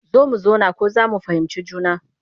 Zo mu zauna ko za mu fahimci juna